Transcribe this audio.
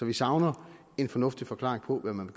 vi savner en fornuftig forklaring på hvad man